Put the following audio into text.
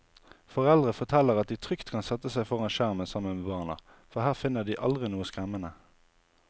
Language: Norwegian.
Foreldre forteller at de trygt kan sette seg foran skjermen sammen med barna, for her finner de aldri noe skremmende.